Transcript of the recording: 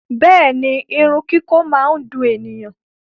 Bẹẹni, irun kiko máa n dùn ènìyàn.